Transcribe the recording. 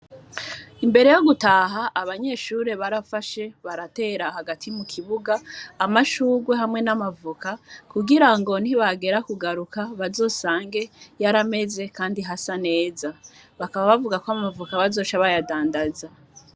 Imbere yo gutaha abanyeshure baratera hagati mu kibuga amashurwe hamwe nama voka kugirango nibagera ku garuka bazosange yarameze kandi hasa neza bakaba bavuga ko amavok bazoca bayadandaza.